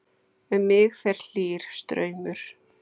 Um mig fer hlýr straumur.